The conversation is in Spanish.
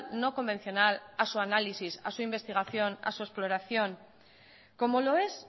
no convencional a su análisis a su investigación a su exploración como lo es